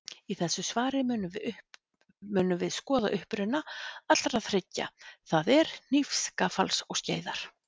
Í þessu svari munum við skoða uppruna allra þriggja, það er hnífs, gaffals og skeiðar.